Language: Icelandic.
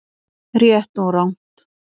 RÉTT OG RANGT